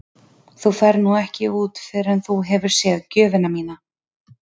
Þú ferð nú ekki út fyrr en þú hefur séð gjöfina þína.